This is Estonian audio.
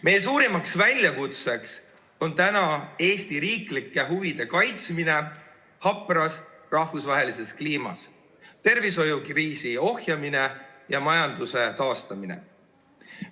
Meie suurim väljakutse on Eesti riiklike huvide kaitsmine hapras rahvusvahelises kliimas, tervishoiukriisi ohjamine ja majanduse taastamine.